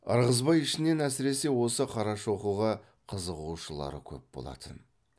ырғызбай ішінен әсіресе осы қарашоқыға қызығушылар көп болатын